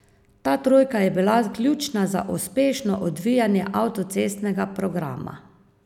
Ta trojka je bila ključna za uspešno odvijanje avtocestnega programa.